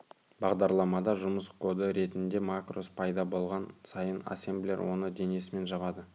бағдарламада жұмыс коды ретінде макрос пайда болған сайын ассемблер оны денесімен жабады